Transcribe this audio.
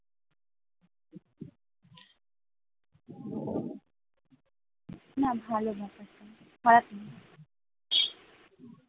না ভালো ব্যাপারটা খারাপ না ।